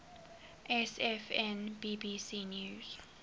sfn bbc news